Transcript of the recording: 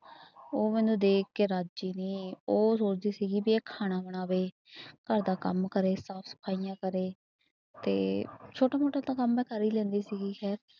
ਉਹ ਮੈਨੂੰ ਦੇਖ ਕੇ ਰਾਜੀ ਨੀ ਉਹ ਸੋਚਦੀ ਸੀਗੀ ਵੀ ਇਹ ਖਾਣਾ ਬਣਾਵੇ ਘਰਦਾ ਕੰਮ ਕਰੇ, ਸਾਫ਼ ਸਫਾਈਆਂ ਕਰੇ ਤੇ ਛੋਟਾ ਮੋਟਾ ਤਾਂ ਕੰਮ ਮੈਂ ਕਰ ਹੀ ਲੈਂਦੀ ਸੀਗੀ ਖੈਰ